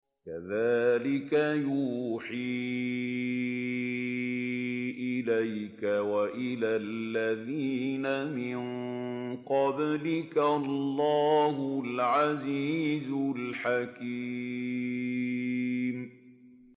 كَذَٰلِكَ يُوحِي إِلَيْكَ وَإِلَى الَّذِينَ مِن قَبْلِكَ اللَّهُ الْعَزِيزُ الْحَكِيمُ